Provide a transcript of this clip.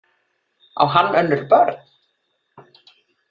Á hann önnur börn?